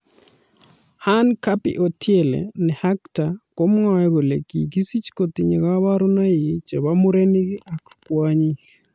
Hanne Gaby Odiele ne Actor komwoei kole kigisich kotinye kaborunoik che bo murenik ak kwonyik.